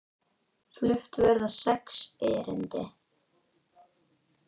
Flutt verða sex erindi.